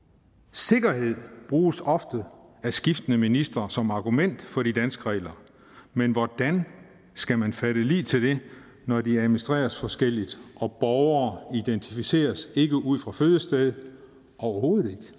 sikkerhed bruges ofte af skiftende ministre som argument for de danske regler men hvordan skal man fatte lid til det når de administreres forskelligt og borgere identificeres ikke ud fra fødestedet overhovedet